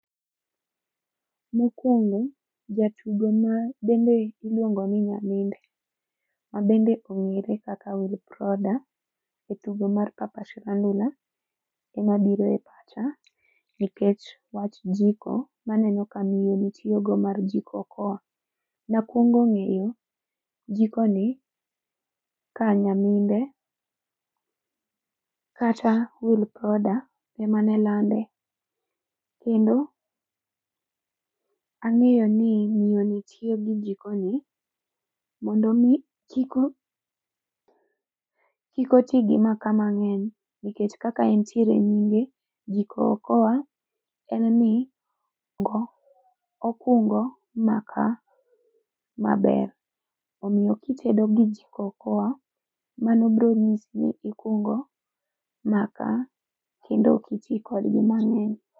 Mokwongo, jatugo ma bende iluongo ni Nyaminde. Ma bende ong'ere kaka Wilproda e tugo mar Papa Shirandula, ema biro e pacha nikech wach jiko maneno ka miyo ni tiyogo mar Jikokoa. Nakwongo ng'eyo jiko ni, ka Nyaminde kata Wilproda ema nelande. Kendo ang'eyo ni miyoni tiyo gi jiko ni mondo mi kik o kik otigi makaa mang'eny nikech kaka entiere e nyinge, Jikokoa en ni okungo makaa maber. Omiyo kitedo gi Jikokoa mano bro nyisi ni ikungo makaa kendo ok iti kodgi mang'eny